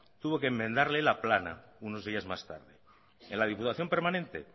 tuvo que enmendarle la plana unos días más tarde en la diputación permanente